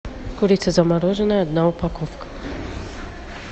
курица замороженная одна упаковка